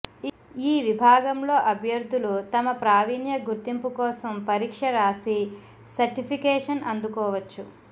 ఈ విభాగంలో అభ్యర్థులు తమ ప్రావీణ్య గుర్తింపు కోసం పరీక్ష రాసి సర్టిఫికేషన్ అందుకోవచ్చు